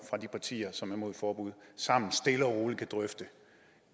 fra de partier som er imod et forbud sammen stille og roligt kan drøfte